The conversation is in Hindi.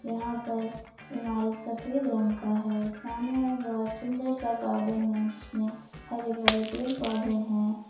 यहां पर इमारत सफेद रंग का है सामने में बहुत सुंदर सा गार्डन है जिसमें हरे भरे पेड़ पौधे हैं।